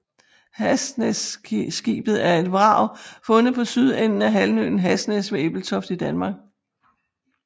Hasnæsskibet er et vrag fundet på sydenden af halvøen Hasnæs ved Ebeltoft i Danmark